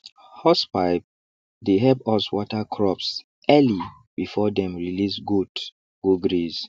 hosepipe dey help us water crops early before dem release goat go graze